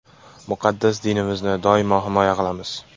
Muqaddas dinimizni doimo himoya qilamiz.